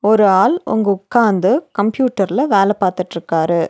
ஒரு ஆள் ஒங்க உக்காந்து கம்ப்யூட்டர்ல வேல பாத்துட்ருக்காரு.